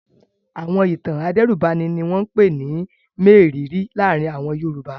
Àwọn ìtàn adẹ́rùbani ni wọ́n ń pè ní mérìíìírí láàárin àwọn Yorùbá.